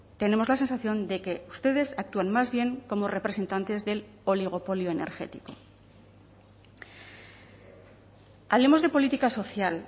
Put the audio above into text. tenemos la sensación de que ustedes actúan más bien como representantes del oligopolio energético hablemos de política social